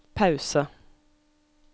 pause